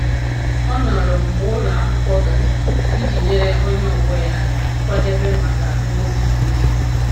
Ọ nọrọ mgbe ụlọ akwụkwọ gachara iji nyere onye ọgbọ ya aka kwadebe maka ngosi siri ike.